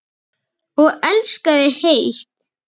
Og elskaði heitt.